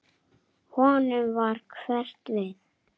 Honum varð hverft við.